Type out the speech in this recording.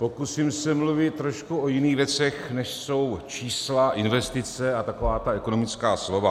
Pokusím se mluvit o trošku jiných věcech, než jsou čísla, investice a taková ta ekonomická slova.